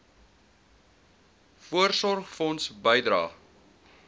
voorsorgfonds bydrae